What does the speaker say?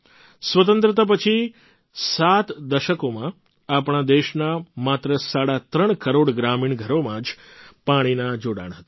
સ્વતંત્રતા પછી સાત દશકોમાં આપણા દેશના માત્ર સાડા ત્રણ કરોડ ગ્રામીણ ઘરોમાં જ પાણીનાં જોડાણ હતાં